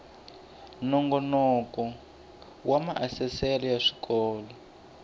nongoloko wa maasesele ya swikolo